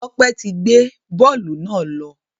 Tope tí gbé bóòlù náà ló.